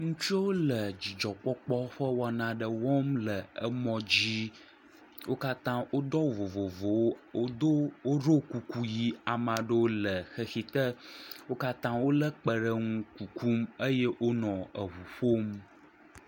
Ŋutsuwole dzidzɔkpɔlpɔ ƒe wɔna aɖe wɔm le emɔ dzi. Wo katã wodo awu vovovowo. Wodo woɖo kuku ʋi. ame aɖewo le xexi te. Wo katã wole kpe ɖe ŋu kuku eye wonɔ eŋu ƒom.